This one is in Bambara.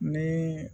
Ni